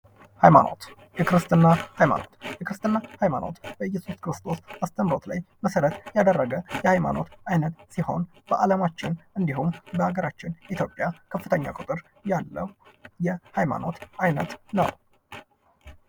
ሃይማኖት የክርስትና ሃይማኖት የክርስትና ሃይማኖት በየሱስ ክርስቶስ አስረምሮት ላይ መሰረት ያረገ የሃይማኖት አይነት ሲሆን በአለማችን እንዱሁም በሀገራችን ኢትዮጵያ ከፍተኛ ቁጥር ያለው የሃይማኖት አይነት ነው::